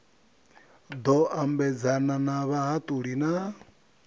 ḓo ambedzana na vhahaṱuli na